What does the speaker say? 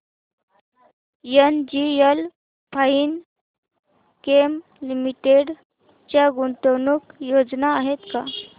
NGL Finechem limited च्या गुंतवणूक योजना आहेत का